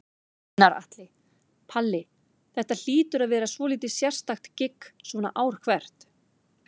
Gunnar Atli: Palli, þetta hlýtur að vera svolítið sérstakt gigg svona ár hvert?